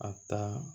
A ta